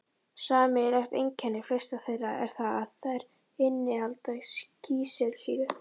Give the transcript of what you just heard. Sameiginlegt einkenni flestra þeirra er það að þær innihalda kísilsýru